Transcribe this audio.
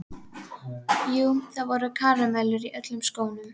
Jú, það voru karamellur í öllum skónum.